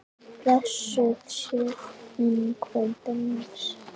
Blessuð sé minning frænda míns.